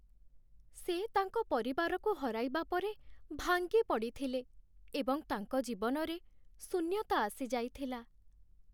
ସେ ତାଙ୍କ ପରିବାରକୁ ହରାଇବା ପରେ ଭାଙ୍ଗିପଡ଼ିଥିଲେ ଏବଂ ତାଙ୍କ ଜୀବନରେ ଶୂନ୍ୟତା ଆସିଯାଇଥିଲା।